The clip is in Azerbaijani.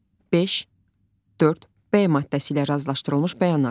5 4 B maddəsi ilə razılaşdırılmış bəyanat.